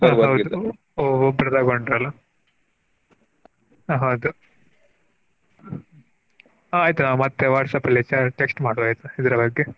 ಆಹ್ ಹೌದು ಒಬ್ರು ತಗೊಂಡ್ರಲ್ಲ ಆಹ್ ಹೌದು ಆಹ್ ಆಯ್ತು ನಾ ಮತ್ತೆ WhatsApp ಅಲ್ಲಿ ಚಾ~ text ಮಾಡ್ತೇನೆ ಆಯ್ತಾ ಇದರ ಬಗ್ಗೆ.